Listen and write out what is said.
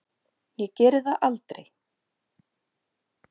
Ég geri það aldrei.